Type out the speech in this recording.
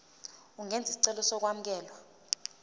ungenza isicelo sokwamukelwa